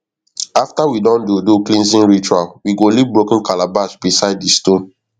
after we don do do cleansing ritual we go leave broken calabash beside di stone